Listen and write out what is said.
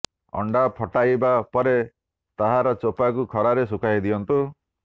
ଅଣ୍ଡା ଫଟାଇବା ପରେ ତାହାର ଚୋପାକୁ ଖରାରେ ଶୁଖାଇ ଦିଅନ୍ତୁ